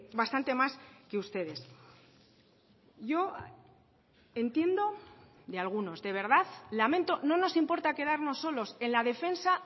bastante más que ustedes yo entiendo de algunos de verdad lamento no nos importa quedarnos solos en la defensa